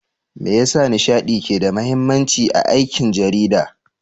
Me yasa nishaɗi ke da mahimmanci a aikin jarida?